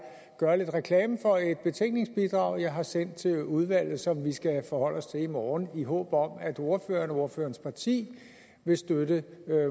gøre lidt reklame for et betænkningsbidrag jeg har sendt til udvalget som vi skal forholde os til i morgen i håb om at ordføreren og ordførerens parti vil støtte